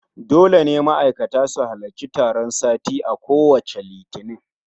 Dole ne ma'aikata su halarci taron sati a kowacce Litini